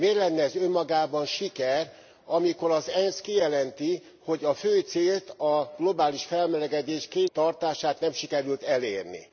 Miért lenne ez önmagában siker, amikor az ENSZ kijelenti, hogy a fő célt, a globális felmelegedés 2 fok alatt tartását, nem sikerült elérni.